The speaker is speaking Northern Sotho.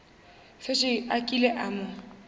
šetše a kile a mo